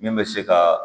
Min bɛ se ka